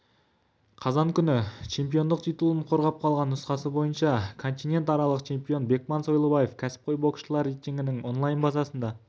қазан күні чемпиондық титулын қорғап қалған нұсқасы бойынша континентаралық чемпион бекман сойлыбаев кәсіпқой боксшылар рейтингінің онлайн-базасында